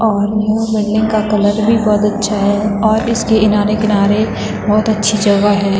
और यह बिल्डिंग का कलर भी बहोत अच्छा है और इसकी इनारे किनारे बहोत अच्छी जगह है।